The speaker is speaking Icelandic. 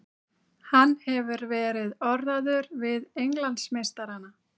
Hann hefur verið orðaður við Englandsmeistarana.